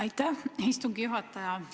Aitäh, istungi juhataja!